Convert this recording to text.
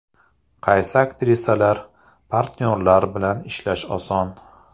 Qaysi aktrisalar, partnyorlar bilan ishlash oson?